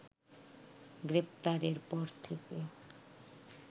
গ্রেপ্তারের পর থেকে